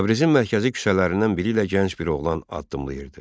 Təbrizin mərkəzi küçələrindən biri ilə gənc bir oğlan addımlayırdı.